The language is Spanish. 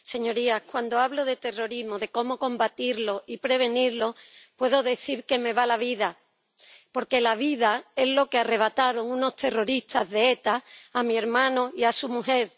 Señorías, cuando hablo de terrorismo, de cómo combatirlo y prevenirlo, puedo decir que me va la vida, porque la vida es lo que arrebataron unos terroristas de ETA a mi hermano y a su mujer.